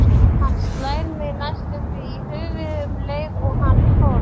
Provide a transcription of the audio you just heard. Hann slær mig næstum því í höfuðið um leið og hann fórn